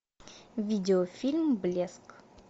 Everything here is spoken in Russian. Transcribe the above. видеофильм блеск